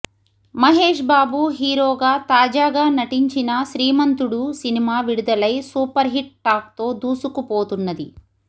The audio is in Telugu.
మహేష్ బాబు హీరోగా తాజాగా నటించిన శ్రీమంతుడు సినిమా విడుదలై సూపర్ హిట్ టాక్ తో దూసుకుపోతున్నది